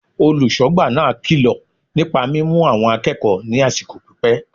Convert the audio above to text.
Olùsógbà náà kilo nípa mímu àwọn akéèkòó ní àsìkò pípé